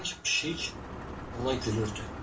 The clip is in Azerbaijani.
Sanki pişik ona gülürdü.